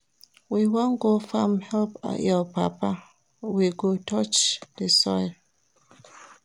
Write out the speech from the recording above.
We wan go farm help your papa, we go touch di soil.